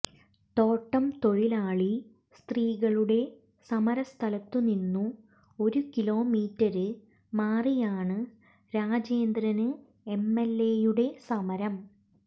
തോട്ടം തൊഴിലാളി സ്ത്രീകളുടെ സമര സ്ഥലത്തു നിന്നു ഒരു കിലോമീറ്റര് മാറിയാണ് രാജേന്ദ്രന് എംഎല്എയുടെ സമരം